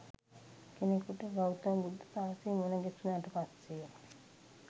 කෙනෙකුට ගෞතම බුද්ධ ශාසනය මුණගැසුනට පස්සේ